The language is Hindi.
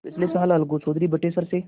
पिछले साल अलगू चौधरी बटेसर से